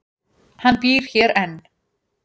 Hann býr hér enn.